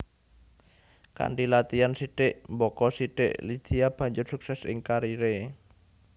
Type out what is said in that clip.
Kanthi latian sithik mbaka sithik Lydia banjur sukses ing kariré